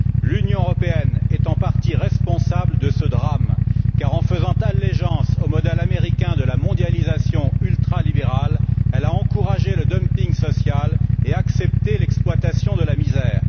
L'Union européenne est en partie responsable de ce drame, car, en faisant allégeance au modèle américain de la mondialisation ultralibérale, elle a encouragé le dumping social et accepté l'exploitation de la misère.